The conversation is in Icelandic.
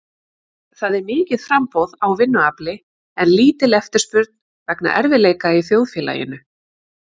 Það er mikið framboð á vinnuafli en lítil eftirspurn vegna erfiðleika í þjóðfélaginu.